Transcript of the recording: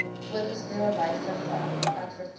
voorgeskrewe wyse geadverteer